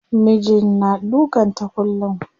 Mijin na dukan ta kullum.